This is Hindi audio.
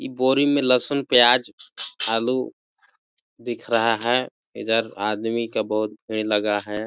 इ बोरी में लसुन प्याज आलू दिख रहा है इधर आदमी का बहुत भीड़ लगा हैं।